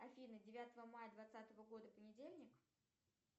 афина девятого мая двадцатого года понедельник